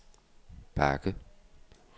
bakke